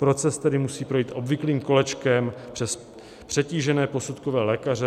Proces tedy musí projít obvyklým kolečkem přes přetížené posudkové lékaře.